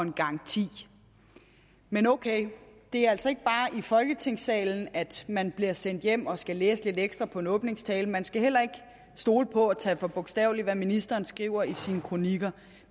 en garanti men ok det er altså ikke bare i folketingssalen at man bliver sendt hjem og skal læse lidt ekstra på en åbningstale man skal heller ikke stole på og tage for bogstaveligt hvad ministeren skriver i sine kronikker